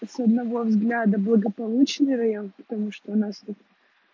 и с одного взгляда благополучный район потому что у нас тут